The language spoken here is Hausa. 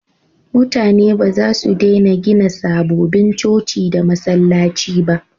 Mutane ba za su dena gina sababbin coci da masallaci ba